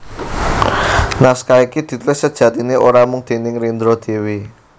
Naskah iki ditulis sejatiné ora mung déning Rendra dhéwé